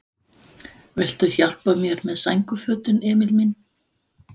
Viltu hjálpa mér með sængurfötin, Emil minn?